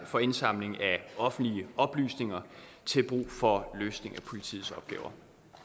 for indsamling af offentlige oplysninger til brug for løsning af politiets opgaver